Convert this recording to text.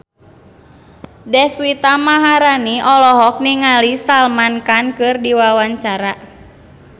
Deswita Maharani olohok ningali Salman Khan keur diwawancara